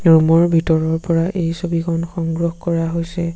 ৰূমৰ ভিতৰৰ পৰা এই ছবিখন সংগ্ৰহ কৰা হৈছে।